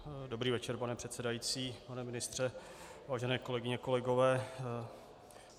Dobrý večer, pane předsedající, pane ministře, vážené kolegyně, kolegové.